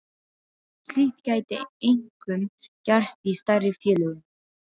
Slíkt gæti einkum gerst í stærri félögum.